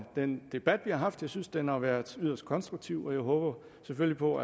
den debat vi har haft jeg synes den har været yderst konstruktiv og jeg håber selvfølgelig på